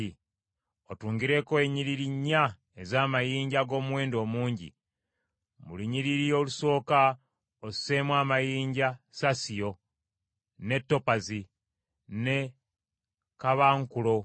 Otungireko ennyiriri nnya ez’amayinja ag’omuwendo omungi. Mu lunyiriri olusooka osseemu amayinja saasiyo, ne topazi, ne kaabankulo;